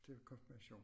Til konfirmation